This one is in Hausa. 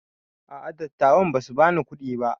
A'a dattawan basu bani kuɗi ba